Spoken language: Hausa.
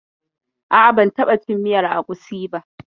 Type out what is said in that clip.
A'a, ban taɓa cin miyar agusi ba.